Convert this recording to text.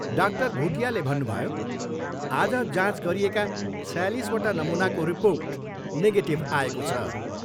Doctor भुटियाले भन्नुभयो, आज जाँच गरिएका छयालिसवटा नमुनाको रिर्पोर्ट नेगेटिभ आएको छ।